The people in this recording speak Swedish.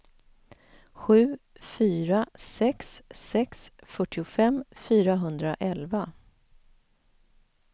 sju fyra sex sex fyrtiofem fyrahundraelva